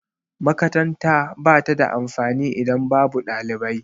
Makaranta ba ta da amfani idan babu ɗalibai.